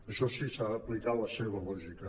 això sí s’ha d’aplicar la seva lògica